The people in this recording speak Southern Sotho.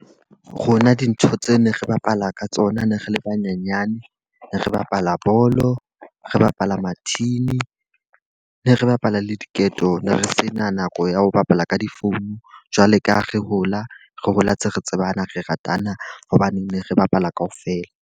Rona dintho tseo ne re bapala ka tsona ne re le banyenyane. Re bapala bolo, re bapala mathini. Ne re bapala le diketo, ne re sena nako ya ho bapala ka difounu. Jwale ka ha re hola, re hola tse re tsebana re ratana. Hobane ne re bapala ka ofela.